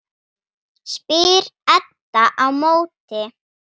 spyr Edda á móti.